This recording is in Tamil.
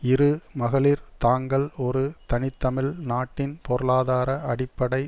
இரு மகளிர் தாங்கள் ஒரு தனித்தமிழ் நாட்டின் பொருளாதார அடிப்படை